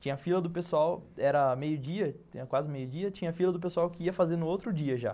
Tinha fila do pessoal, era meio-dia, quase meio-dia, tinha fila do pessoal que ia fazer no outro dia já.